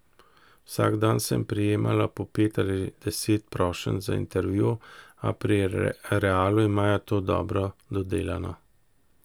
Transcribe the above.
Vsak dan sem prejemala po pet ali deset prošenj za intervju, a pri Realu imajo to dobro dodelano.